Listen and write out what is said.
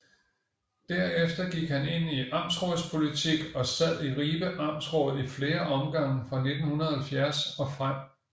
Derefter gik han ind i amtsrådspolitik og sad i Ribe Amtsråd i flere omgange fra 1970 og frem